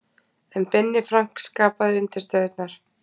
En Binni Frank skapaði undirstöðurnar.